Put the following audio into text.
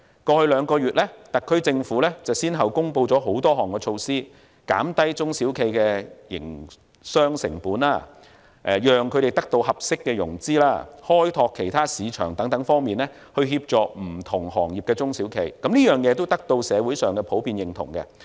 過去兩個月，特區政府已先後公布多項措施，在減低中小企的營商成本、讓他們得到合適融資、開拓其他市場等方面協助不同行業的中小企，此舉得到社會上普遍認同。